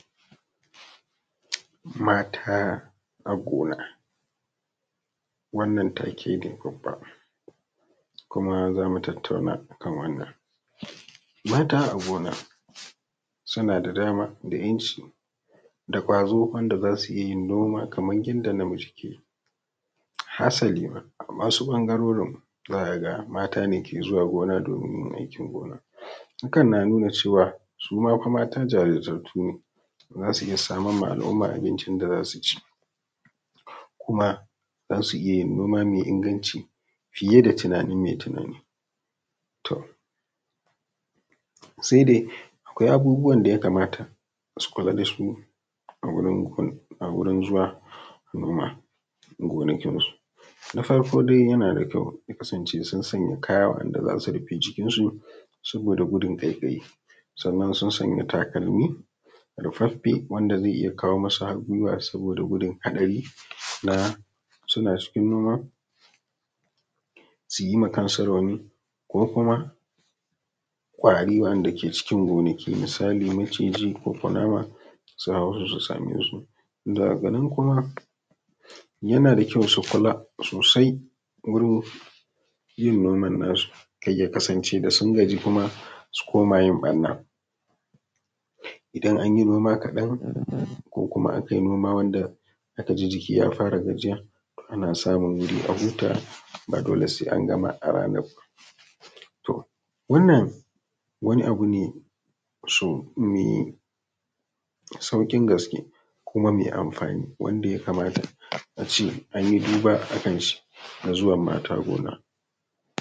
Mata a gona, wannan take ne bubba kuma zamu tattauna akan wannan, mata a gona suna da dama da ‘yanci da gwazo wanda zasu iya yin noma kamar yadda namiji ke yi hasali ma a wasu ɓangarorin ma zaka ga mata ne ke zuwa gona domin yin aikin gona, hakan na nuna cewa su ma mata jarimtattu ne zasu iya samar ma al’umma abincin da zasu ci kuma zasu iya yin noma mai inganci fiye da tunanin mai tunani, to sai dai akwai abubuwan da ya kamata su kula da su a wurin zuwa noma gonakinsu, na farko dai yana da kyau ya kasance sun sanya kaya waɗanɗa zasu rufe jikin su saboda gudun kaikayi sannan sun sanya takarmi rufaffe wanda zai iya kawo musu har gwiwa saboda gudun hatsari na suna cikin noma suyi ma kansu rauni ko kuma ƙwari wanda ke cikin gonaki misali maciji ko kunama su hauro su same su, daga nan kuma yana da kyau su kula sosai wurin yin noman nasu kar ya kasance da sun gaji kuma su koma yin ɓarna, idan an yi noma kaɗan ko kuma aka yi noma wanda aka ji jiki ya fara gajiya ana samun a hut aba dole sai an gama a ranar ba, to wannan wani abu ne mai saukin gaske kuma mai amfani wanda ya kamata ace an yi duba a hakanshi zuwan mata gona.